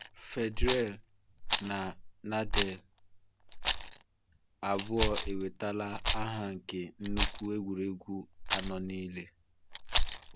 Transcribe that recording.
Federer na Nadal abụọ enwetala aha nke nnukwu egwuregwu anọ niile.